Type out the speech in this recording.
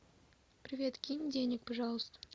привет кинь денег пожалуйста